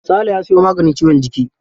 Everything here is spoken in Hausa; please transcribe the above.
Sale ya sayo maganin ciwon jiki.